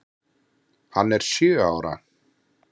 Hann er sjö ára.